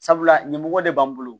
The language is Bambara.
Sabula ɲɛmɔgɔ de b'an bolo